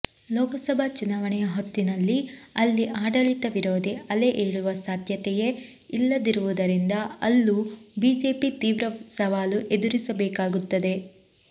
ಲೋಕಸಭಾ ಚುನಾವಣೆಯ ಹೊತ್ತಿನಲ್ಲಿ ಅಲ್ಲಿ ಆಡಳಿತ ವಿರೋಧಿ ಅಲೆ ಏಳುವ ಸಾಧ್ಯತೆಯೇ ಇಲ್ಲದಿರುವುದರಿಂದ ಅಲ್ಲೂ ಬಿಜೆಪಿ ತೀವ್ರ ಸವಾಲು ಎದುರಿಸಬೇಕಾಗುತ್ತದೆ